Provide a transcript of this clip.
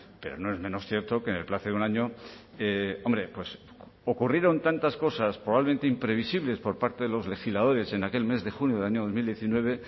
pero no es menos cierto que en el plazo de un año hombre ocurrieron tantas cosas probablemente imprevisibles por parte de los legisladores en aquel mes de junio del año dos mil diecinueve